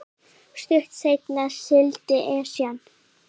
Stuttu seinna sigldi Esjan